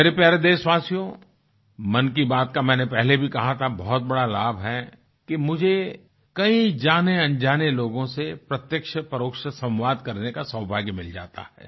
मेरे प्यारे देशवासियों मन की बात का मैंने पहले भी कहा था बहुत बड़ा लाभ है कि मुझे कई जानेअनजाने लोगों से प्रत्यक्षपरोक्ष संवाद करके का सौभाग्य मिल जाता है